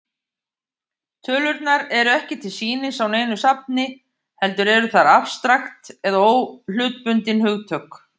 Tölurnar eru ekki til sýnis á neinu safni, heldur eru þær afstrakt eða óhlutbundin hugtök.